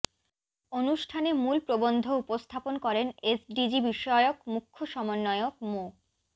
অনুষ্ঠানে মূল প্রবন্ধ উপস্থাপন করেন এসডিজি বিষয়ক মুখ্য সমন্বয়ক মো